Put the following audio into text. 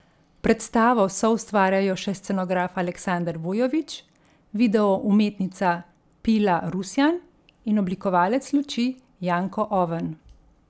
Predstavo soustvarjajo še scenograf Aleksander Vujović, video umetnica Pila Rusjan in oblikovalec luči Janko Oven.